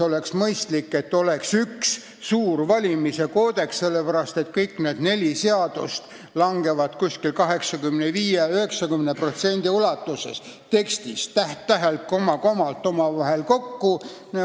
Oleks mõistlik, kui Eestis oleks üks suur valimiste koodeks, sest kõik need neli seadust langevad 85–90% ulatuses täht-tähelt ja koma-komalt kokku.